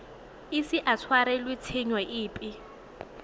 ise a tshwarelwe tshenyo epe